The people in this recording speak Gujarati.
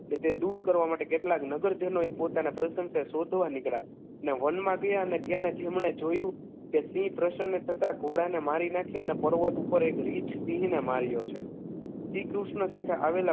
તે દૂર કરવા માટે કેટલાક નગરજનોએ પોતાના પ્રસત્યને શોધવા નીકળ્યા અને વનમા ગયા અને ત્યાં તેમણે જોયું કે સિંહ પ્રસન્ન થતા ઘોડાને મારી નાખ્યા અને પર્વત પર એક રિંછ સિંહને માર્યો છે શ્રી કૃષ્ણ સાથે આવેલા